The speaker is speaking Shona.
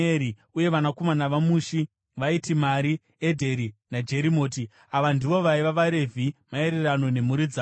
Uye vanakomana vaMushi vaiti: Mari, Edheri naJerimoti. Ava ndivo vaiva vaRevhi maererano nemhuri dzavo.